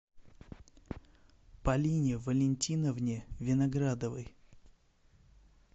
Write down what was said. полине валентиновне виноградовой